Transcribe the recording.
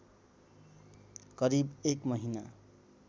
करिब एक महिना